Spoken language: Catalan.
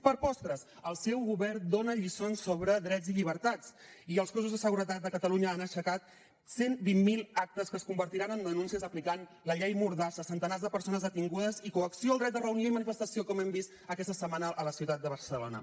per postres el seu govern dona lliçons sobre drets i llibertats i els cossos de seguretat de catalunya han aixecat cent i vint miler actes que es convertiran en denúncies aplicant la llei mordassa centenars de persones detingudes i coacció al dret de reunió i manifestació com hem vist aquesta setmana a la ciutat de barcelona